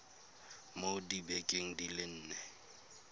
mo dibekeng di le nne